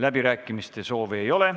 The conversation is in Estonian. Läbirääkimiste soovi ei ole.